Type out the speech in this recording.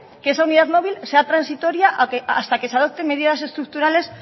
que esa unidad móvil sea transitoria hasta que se adopten medidas estructurales